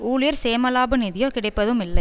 ஊழியர் சேமலாப நிதியோ கிடைப்பதும் இல்லை